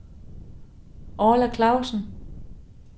Orla Clausen